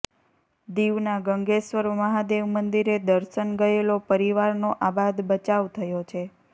દીવના ગંગેશ્વર મહાદેવ મંદિરે દર્શન ગયેલો પરિવારનો આબાદ બચાવ થયો છે